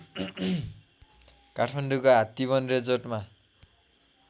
काठमाडौँको हात्तीबन रिजोर्टमा